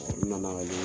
nana